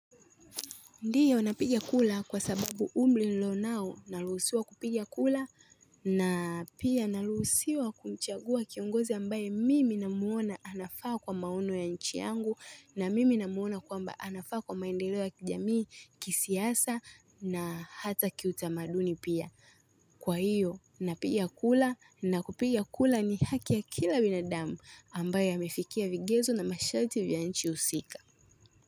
Ndio napigia kula kwa sababu umri nilio nao naluhusiwa kupigia kula na pia naluhusiwa kumchagua kiongozi ambaye mimi na muona anafaa kwa maono ya nchi yangu na mimi na muona kwamba anafaa kwa maendeleo ya kijamii kisiasa na hata kiutamaduni pia kwa hiyo napiga kula na kupiga kula ni haki ya kila binadamu ambaye amefikia vigezo na mashati vya nchi husika.